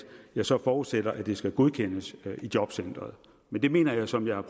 jeg så forudsætter at det skal godkendes i jobcenteret men det mener jeg som jeg har